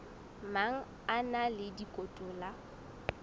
mang a na le dikotola